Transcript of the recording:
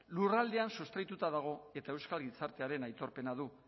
lurraldean sustraituta dago eta euskal gizartearen aitorpena du